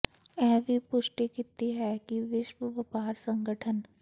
ਇਹ ਵੀ ਪੁਸ਼ਟੀ ਕੀਤੀ ਹੈ ਕਿ ਵਿਸ਼ਵ ਵਪਾਰ ਸੰਗਠਨ